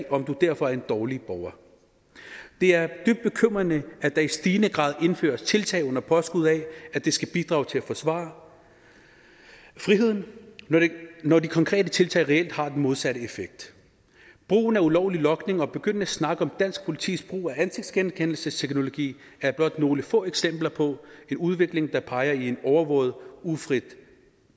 om du derfor er en dårlig borger det er dybt bekymrende at der i stigende grad indføres tiltag under påskud af at det skal bidrage til at forsvare friheden når de konkrete tiltag reelt har den modsatte effekt brugen af ulovlig logning og begyndende snak om dansk politis brug af ansigtsgenkendelsesteknologi er blot nogle få eksempler på en udvikling der peger i et overvåget ufrit